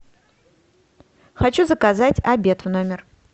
хочу заказать обед в номер